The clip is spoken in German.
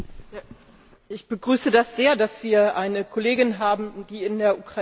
Ich begrüße es sehr, dass wir eine Kollegin haben, die in der Ukraine lebt.